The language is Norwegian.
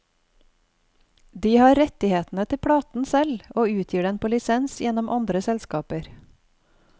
De har rettighetene til platen selv, og utgir den på lisens gjennom andre selskaper.